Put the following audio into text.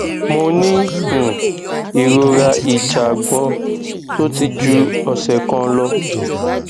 mo ní um ìrora ìjàgbọn tó ti ju ọsẹ kan lọ